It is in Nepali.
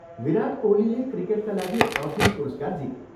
विराट कोहलीले क्रिकेटका लागि अर्जुन पुरस्कार जिते।